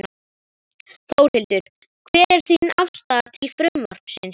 Þórhildur: Hver er þín afstaða til frumvarpsins?